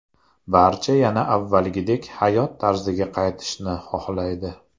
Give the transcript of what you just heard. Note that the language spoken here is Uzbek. Barcha yana avvalgidek hayot tarziga qaytishni xohlaydi.